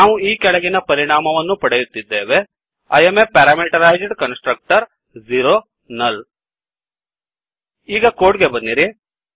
ನಾವು ಈ ಕೆಳಗಿನ ಪರಿಣಾಮವನ್ನು ಪಡೆಯುತ್ತಿದ್ದೇವೆ I am a parameterized constructor null ಈಗ ಕೋಡ್ ಗೆ ಬನ್ನಿರಿ